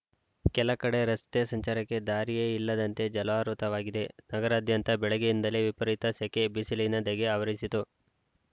ಕೆಲ ಕಡೆ ರಸ್ತೆ ಸಂಚಾರಕ್ಕೆ ದಾರಿಯೇ ಇಲ್ಲದಂತೆ ಜಲಾವೃತವಾಗಿದೆ ನಗರಾದ್ಯಂತ ಬೆಳಗ್ಗೆಯಿಂದಲೇ ವಿಪರೀತ ಸೆಕೆ ಬಿಸಿಲಿನ ಧಗೆ ಆವರಿಸಿತ್ತು